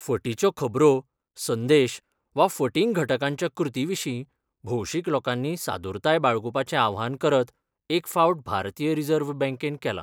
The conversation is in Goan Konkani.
फटीच्यो खबरो संदेश वा फटींग घटकांच्या कृती विशीं भौशीक लोकांनी सादुरताय बाळगुपाचे आवाहन करत एक फावट भारतीय रिझर्व्ह बँकेन केला.